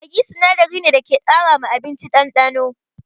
Maggi sinadari ne da ke ƙara ma abinci ɗanɗano.